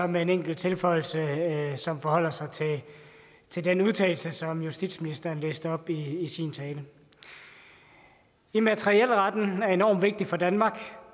med en enkelt tilføjelse som forholder sig til den udtalelse som justitsministeren læste op i sin tale immaterielretten er enorm vigtig for danmark